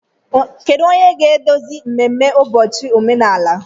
Kedu onye ga-eduzi mmemme ụbọchị omenala?